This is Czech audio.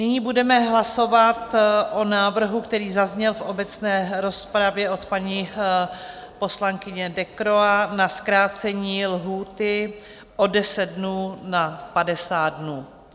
Nyní budeme hlasovat o návrhu, který zazněl v obecné rozpravě od paní poslankyně Decroix, na zkrácení lhůty o 10 dnů na 50 dnů.